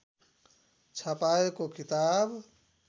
छपाएको किताब